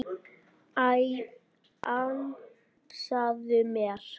Æ, ansaðu mér.